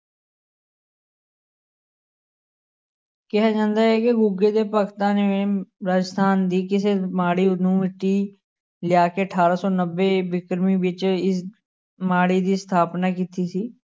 ਕਿਹਾ ਜਾਂਦਾ ਹੈ ਕਿ ਗੁੱਗੇ ਦੇ ਭਗਤਾਂ ਨੇ ਰਾਜਸਥਾਨ ਦੀ ਕਿਸੇ ਮਾੜੀ ਨੂੰ ਮਿੱਟੀ ਲਿਆ ਕੇ ਅਠਾਰਾਂ ਸੌ ਨੱਬੇ ਵਿਕਰਮੀ ਵਿੱਚ ਇਸ ਮਾੜੀ ਦੀ ਸਥਾਪਨਾ ਕੀਤੀ ਸੀ।